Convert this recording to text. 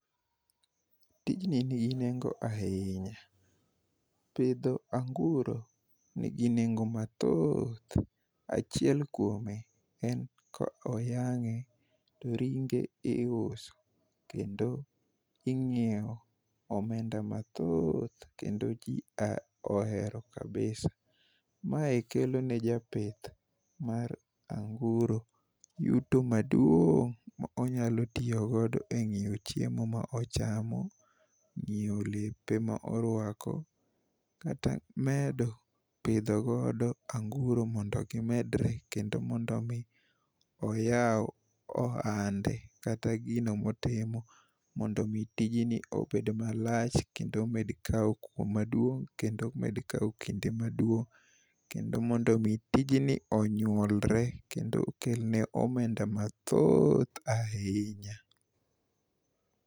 Tijni nigi nengo ahinya. Pidho anguro nigi nengo mathoth. Achiel kuome en koyang'e to ringe iuso kendo ing'iewo omenda mathoth kendo ji ohero kabisa. Mae kelo ne japith mar anguro yuto maduong' ma onyalo tiyogodo e ng'iewo chiemo ma ochamo, ng'iewo lepe ma orwako kata medo pidhogodo anguro mondo gimedre kendo mondo omi oyaw ohande kata gino motimo mondo omi tijni obed malach kendo omed kawo kuo maduong' kendo omed kawo kinde maduong' kendo mondo omi tijni onyuolre kendo okelne omenda mathoth ahinya.